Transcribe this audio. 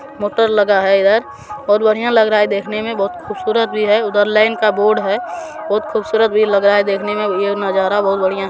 motor लगा है इधर बहुत बढ़िया लग रहा है देखने में बहुत खूबसूरत भी है उधर लेन का बोर्ड है बहुत खूबसूरत भी लग रहा है देखने मैं ये नजारा बहुत बढ़िया--